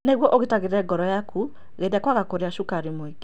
Nĩguo ũgitagĩre ngoro yaku, geria kwaga kũrĩa cukari mũingĩ.